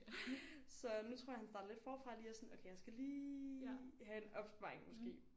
Så nu tror jeg han starter lidt forfra lige og sådan okay jeg skal lige have en opsparing måske